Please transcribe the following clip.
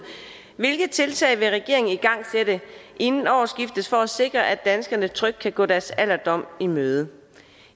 hvilke tiltag vil regeringen igangsætte inden årsskiftet for at sikre at danskerne trygt kan gå deres alderdom i møde